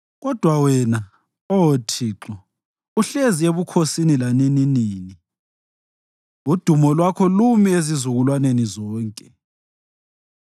Kodwa wena, Oh Thixo, uhlezi ebukhosini lanininini; udumo lwakho lumi ezizukulwaneni zonke.